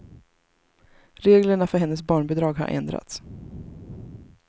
Reglerna för hennes barnbidrag har ändrats.